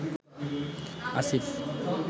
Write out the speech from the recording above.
Asif